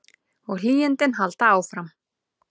Og hlýindin halda áfram.